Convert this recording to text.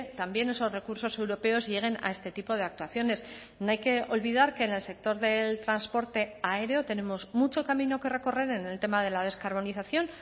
también esos recursos europeos lleguen a este tipo de actuaciones no hay que olvidar que en el sector del transporte aéreo tenemos mucho camino que recorrer en el tema de la descarbonización